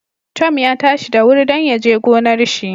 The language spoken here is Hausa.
Tom ya tashi da wuri dan yaje gonar shi